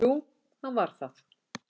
Jú, hann var það.